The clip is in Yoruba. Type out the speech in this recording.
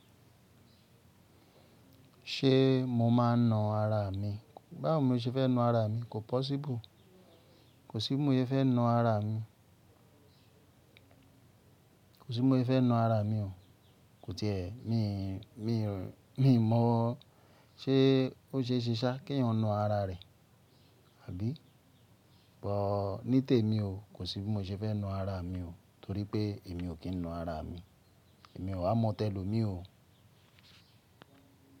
Ṣé mo máa na ara mi? Báwo mo ṣe fẹ́ na ara mi? Kò possible. Kò sí bí mo yẹ fẹ́ na ara mi. Kò sí bí mo yẹ fẹ́ na ara mi o. Kò ti è. Mi, mi, mi mọ̀ o. Ṣé ó ṣe ṣíṣá kí ẹ̀yàn na ara rẹ̀, àbí? Bọ̀ọ̀, ní tèmi o, kò sí bí mo ṣe fẹ́ na ara mi o, torí pé èmi o kín na ara mi. Èmi o wá mọ tẹ́loo mi o.